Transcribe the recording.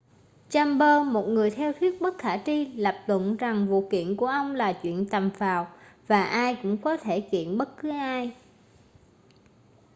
chambers một người theo thuyết bất khả tri lập luận rằng vụ kiện của ông là chuyện tầm phào và ai cũng có thể kiện bất cứ ai